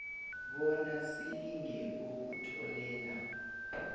bona silinge ukutholela